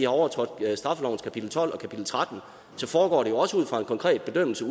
overtrådt straffelovens kapitel tolv og kapitel tretten så foregår det jo også ud fra en konkret bedømmelse